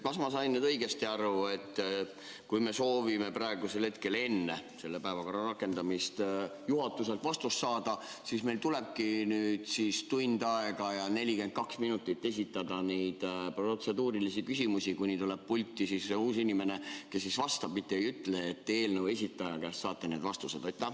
Kas ma sain õigesti aru, et kui me soovime enne selle päevakorra rakendamist juhatuselt vastust saada, siis meil tulebki tund ja 42 minutit esitada neid protseduurilisi küsimusi, kuni tuleb pulti uus inimene, kes vastab, mitte ei ütle, et eelnõu esitaja käest saate vastused?